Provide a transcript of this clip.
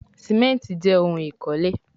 Simenti jé òun ikole